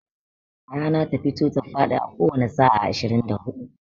Rana ta fitowa ta faɗi a a kowanne sa'a ishirin da hudu.